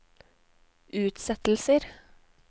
utsettelser